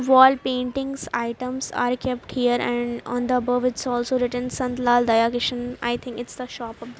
wall paintings items are kept here and on the above also written santlal daya kishan i think it's the shop of the --